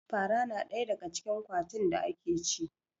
Fara na ɗaya daga cikin ƙwatin da ake ci